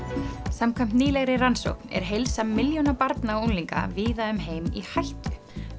samkvæmt nýlegri rannsókn er heilsa milljóna barna og unglinga víða um heim í hættu